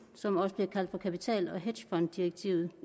som også bliver kaldt for kapital og hedgefonddirektivet